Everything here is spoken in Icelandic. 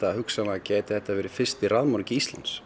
að hugsanlega geti þetta verið fyrsti